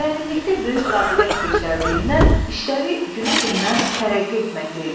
Müəllimlikdə böyük qabiliyyət göstərdiyindən işləri günü-gündən tərəqqi etməkdə idi.